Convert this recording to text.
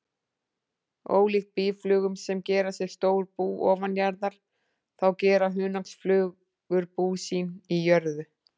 Ólíkt býflugum sem gera sér stór bú ofanjarðar, þá gera hunangsflugur bú sín í jörðu.